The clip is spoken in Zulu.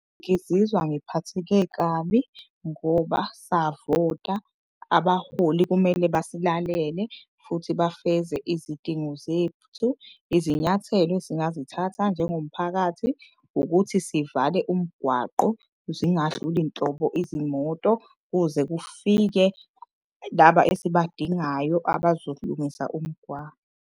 Ngizizwa ngiphatheke kabi ngoba savota. Abaholi kumele basilalele futhi bafeze izidingo zethu. Izinyathelo esingazithatha njengomphakathi ukuthi sivale umgwaqo. Zingadluli nhlobo izimoto kuze kufike laba esibadingayo abazolungisa umgwaqo.